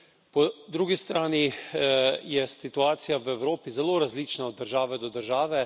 Po drugi strani je situacija v Evropi zelo različna od države do države.